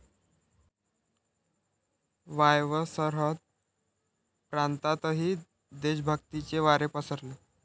वायव्य सरहद्द प्रांतातही देशभक्तीचे वारे पसरले.